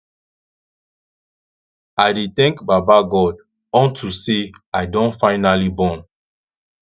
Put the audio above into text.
i dey thank baba god unto say i don finally born